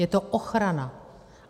Je to ochrana.